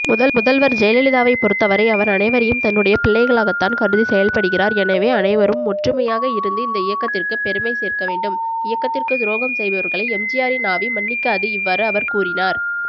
முதல்வர்ஜெயலலிதாவைபொறுத்தவரைஅவர்அனைவரையும்தன்னுடைபிள்ளை களாகத்தான் கருதிசெயல்படுகிறார்எனவேஅனைவரும்ஒற்றுமையாகஇருந்துஇந்த இயக்கத்திற்கு பெருமை சேர்க்கவேண்டும் இயக்கத்திற்குதுரோகம்செய்பவர்களை எம்ஜிஆரின் ஆவி மன்னிக்காது இவ்வாறுஅவர்கூறினார்